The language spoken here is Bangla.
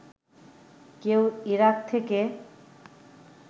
কেউ ইরাক থেকে